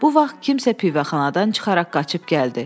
Bu vaxt kimsə pivəxanadan çıxaraq qaçıb gəldi.